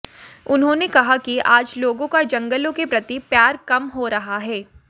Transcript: उन्हांेने कहा कि आज लोगों का जंगलों के प्रति प्यार कम हो रहा है